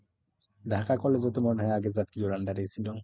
Dhaka collage ও তো মনে হয় আগে জাতীয়র under এ ছিল।